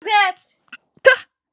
Þetta reyndi ég eins og ég best gat.